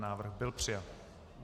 Návrh byl přijat.